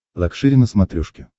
лакшери на смотрешке